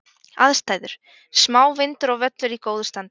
Aðstæður: Smá vindur og völlur í góðu standi.